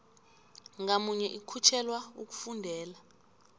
ngamunye ikhutjhelwa ukufundela